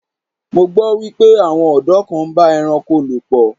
Mo gbọ́ wípé àwọn ọ̀dọ́ kan ń bá ẹranko lò pọ̀.